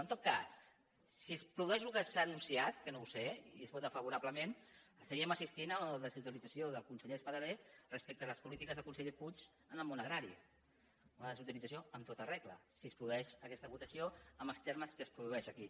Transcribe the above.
en tot cas si es produeix el que s’ha anunciat que no ho sé i es vota favorablement estaríem assistint a la desautorització del conseller espadaler respecte a les polítiques del conseller puig en el món agrari una desautorització en tota regla si es produeix aquesta votació en els termes que es produeix aquí